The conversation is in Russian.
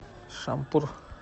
шампур